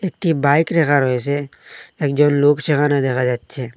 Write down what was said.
একটি বাইক রাখা রয়েসে একজন লোক সেখানে দেখা যাচ্ছে।